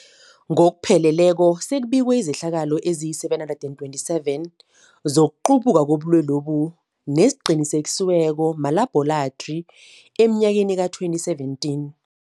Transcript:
Ngokupheleleko, sekubikwe izehlakalo ezima-727 zokuqubuka kobulwelobu neziqinisekiswe malabhorathri emnyakeni we-2017.